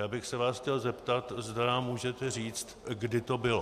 Já bych se vás chtěl zeptat, zda nám můžete říct, kdy to bylo.